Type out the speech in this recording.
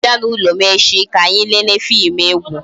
I ga-abia n'ulo m echi ka anyị lele fim egwu?